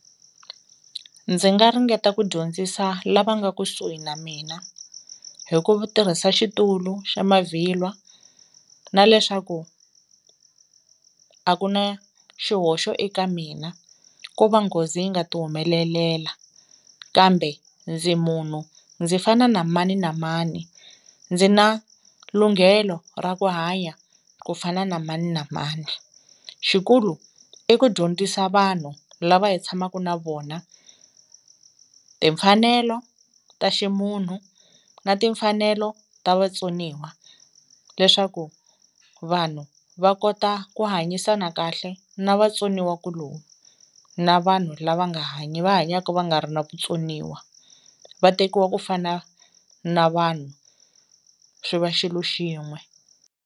Ndzi nga ringeta ku dyondzisa lava nga kusuhi na mina hi ku tirhisa xitulu xa mavhilwa na leswaku a ku na xihoxo eka mina ko va nghozi yi nga ti humelelela kambe ndzi munhu ndzi fana na mani na mani ndzi na lunghelo ra ku hanya ku fana na mani na mani, xikulu i ku dyondzisa vanhu lava hi tshamaku na vona timfanelo ta ximunhu na timfanelo ta vatsoniwa leswaku vanhu va kota ku hanyisana kahle na va vatsoniwa ku lomu na vanhu lava nga hanyi va hanyaka va nga ri na vutsoniwa va tekiwa ku fana na vanhu swi va xilo xin'we.